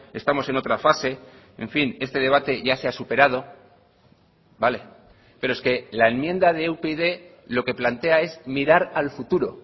estamos en otra fase en fin este debate ya se ha superado vale pero es que la enmienda de upyd lo que plantea es mirar al futuro